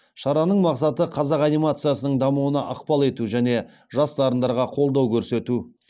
шараның мақсаты қазақ анимациясының дамуына ықпал ету және жас дарындарға қолдау көрсету